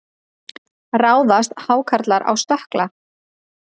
Ráðast hákarlar á stökkla?